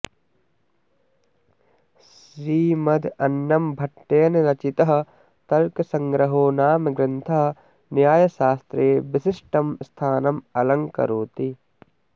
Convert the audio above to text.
श्रीमदन्नंभट्टेन रचितः तर्कसङ्ग्रहो नाम ग्रन्थः न्यायशास्त्रे विशिष्टं स्थानम् अलङ्करोति